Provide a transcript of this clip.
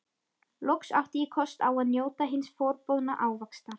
Loks átti ég kost á að njóta hins forboðna ávaxtar!